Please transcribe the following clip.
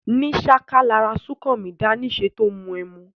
Ní sáká lara súnkanmí dáá níse tó mu ẹmu.